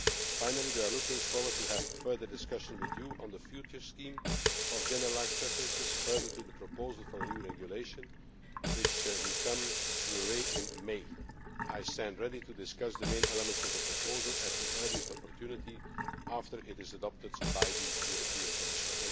Finally we are looking forward to further discussions with you on the future scheme of generalised preferences further to the proposal for a new regulation which will come your way in May. I stand ready to discuss the main elements of the proposal at the earliest opportunity after it is adopted by the Commission.